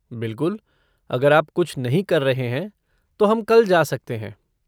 बिल्कुल, अगर आप कुछ नहीं कर रहे हैं तो हम कल जा सकते हैं।